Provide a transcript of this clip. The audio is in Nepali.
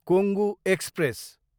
कोंगु एक्सप्रेस